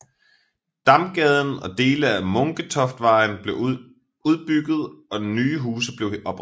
Damgaden og dele af Munketoftvejen blev udbygget og nye huse blev oprettet